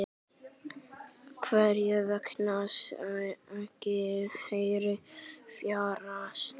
Hvers vegna ekki hærri fjárhæð?